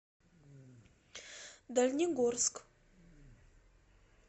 дальнегорск